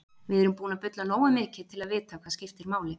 Við erum búin að bulla nógu mikið til að vita hvað skiptir máli.